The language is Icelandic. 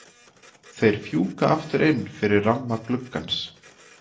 Þeir fjúka aftur inn fyrir ramma gluggans.